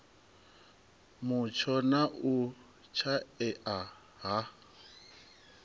mutsho na u shaea ha